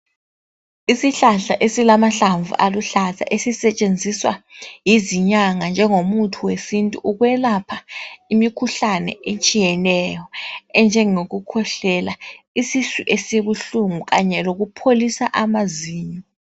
Isihlahla esilamahlamvu aluhlaza esisetshenziswa yizinyanga njengomuthi wesintu ukwelapha imikhuhlane etshiyeneyo enjengokukhwehlela, isisu esibuhlungu kanye lokupholisa amazinyo.